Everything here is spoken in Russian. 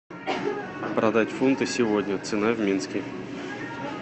продать фунты сегодня цена в минске